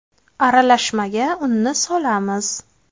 Aralashmaga unni solamiz.